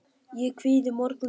Ég kvíði morgundeginum.